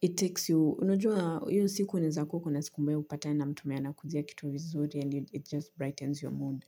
it takes you unajua, hio siku unaeza kuwa uko na siku mbaya upatane na mtumu mwenye anakuuzia kitu vizuri and it just brightens your mood.